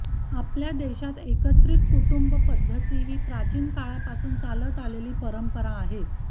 आपल्या देशात एकत्रित कुटुंब पद्धती ही प्राचीन काळापासून चालत आलेली परंपरा आहे